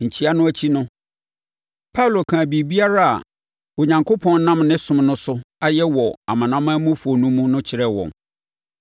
Nkyea no akyi no, Paulo kaa biribiara a Onyankopɔn nam ne som no so ayɛ wɔ amanamanmufoɔ no mu no kyerɛɛ wɔn.